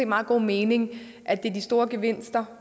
meget god mening at det er de store gevinster